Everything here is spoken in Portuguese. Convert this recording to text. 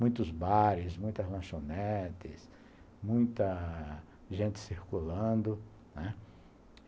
Muitos bares, muitas lanchonetes, muita gente circulando, né?